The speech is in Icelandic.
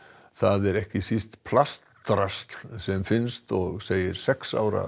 það er ekki síst plastdrasl sem finnst og segir sex ára